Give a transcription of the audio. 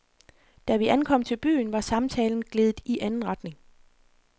Da vi ankom til byen, var samtalen gledet i anden retning.